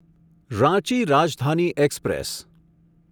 Ranchi Rajdhani express